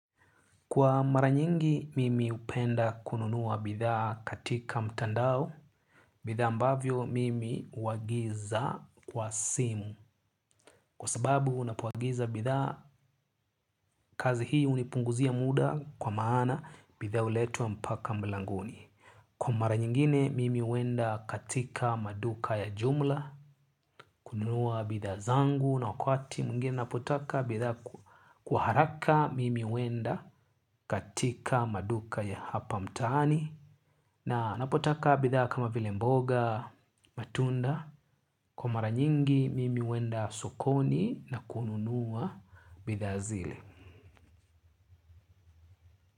Kwa mara nyingi mimi hupenda kununua bidhaa katika mtandao, bidhaa ambavyo mimi huagiza kwa simu, kwa sababu unapoagiza bidhaa kazi hii hunipunguzia muda kwa maana bidha huletwa mpaka mlangoni. Kwa mara nyingine mimi huenda katika maduka ya jumla, kununua bidhaa zangu na wakati mwingine ninapotaka bidhaa kwa haraka mimi huenda katika maduka ya hapa mtaani na ninapotaka bidhaa kama vile mboga, matunda, kwa mara nyingi mimi huenda sokoni na kununua bidhaa zile.